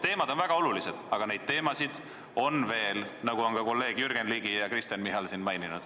Teemad on väga olulised, aga neid teemasid on veel, nagu kolleegid Jürgen Ligi ja Kristen Michal on maininud.